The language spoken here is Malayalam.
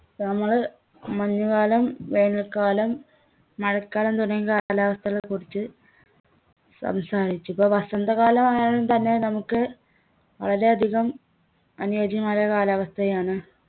നമ്മള് മഞ്ഞുകാലം വേനൽക്കാലം മഴക്കാലം തുടങ്ങിയ കാലാവസ്ഥകളെ കുറിച്ച് സംസാരിച്ചു ഇപ്പൊ വസന്തകാലമായാലും തന്നെ നമുക്ക് വളരെയധികം അനുയോച്യമായ കാലാവസ്ഥയാണ്